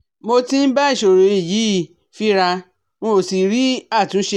Mo tí ń bá ìsòro yìí fínra n ò sì rí àtúnṣe